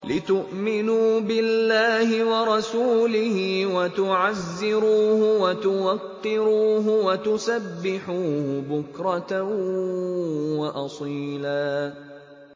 لِّتُؤْمِنُوا بِاللَّهِ وَرَسُولِهِ وَتُعَزِّرُوهُ وَتُوَقِّرُوهُ وَتُسَبِّحُوهُ بُكْرَةً وَأَصِيلًا